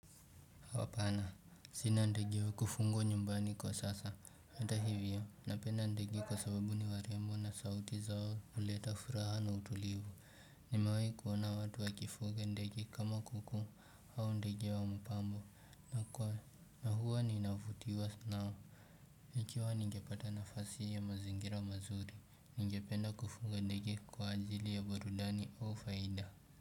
Sina ndege wa kufungwa nyumbani kwa sasa. Heta hivyo, napenda ndege kwa sababu ni warembo na sauti zao huleta furaha na utulivu. Nimewahi kuona watu wakifunga ndege kama kuku au ndege wa mpambo. Na huwa ninavutiwa nao. Ikiwa ningepata nafasi ya mazingira mazuri, ningependa kufunga ndege kwa ajili ya burudani au faida.